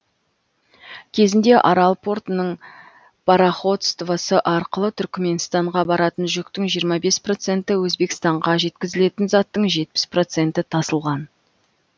кезінде арал портының пароходствосы арқылы түрікменстанға баратын жүктің жиырма бес проценті өзбекстанға жеткізілетін заттың жетпіс проценті тасылған